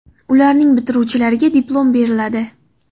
Ularning bitiruvchilariga diplom beriladi.